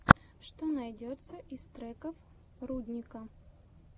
что найдется из треков рудника